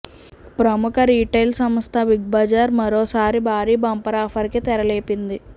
ప్రముఖ రిటైల్ సంస్థ Big Bazaar మరోసారి బారీ బంపర్ ఆఫర్ కి తెరలేపింది